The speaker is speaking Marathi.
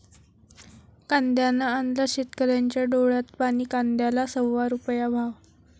कांद्यानं आणलं शेतकऱ्यांच्या डोळ्यात पाणी, कांद्याला सव्वा रुपया भाव!